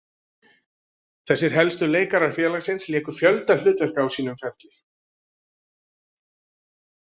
Þessir helstu leikarar félagsins léku fjölda hlutverka á sínum ferli.